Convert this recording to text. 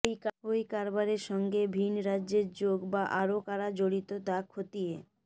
ওই কারবারের সঙ্গে ভিন্ রাজ্যের যোগ বা আরও কারা জড়িত তা খতিয়ে